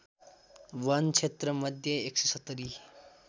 वन क्षेत्रमध्ये १७०